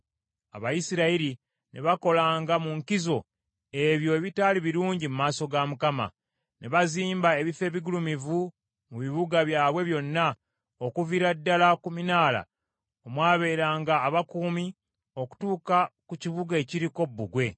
Abayisirayiri ne bakolanga mu nkizo ebyo ebitaali birungi mu maaso ga Mukama . Ne bazimba ebifo ebigulumivu mu bibuga byabwe byonna, okuviira ddala ku minaala omwabeeranga abakuumi okutuuka ku kibuga ekiriko bbugwe.